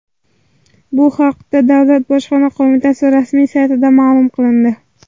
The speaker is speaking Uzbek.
Bu haqda Davlat bojxona qo‘mitasi rasmiy saytida ma’lum qilindi .